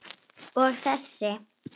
Og þessi?